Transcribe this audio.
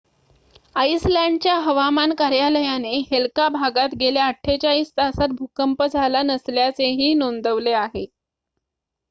आइसलँडच्या हवामान कार्यालयाने हेल्का भागात गेल्या ४८ तासांत भूकंप झाला नसल्याचेही नोंदवले आहे